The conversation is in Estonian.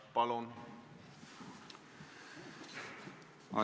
Palun!